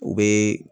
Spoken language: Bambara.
U bɛ